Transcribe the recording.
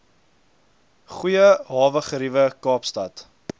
goeie hawegeriewe kaapstad